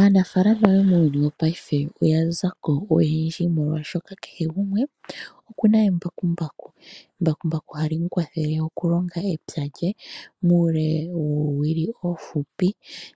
Aanafaalama yomuuyuuni wopaife oya zako, molwaashoka kehe gumwe oku na embakumbaku. Embakumbaku hali kwathele okulonga epya muule woowili oofupi